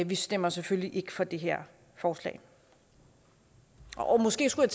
vi stemmer selvfølgelig ikke for det her forslag måske skulle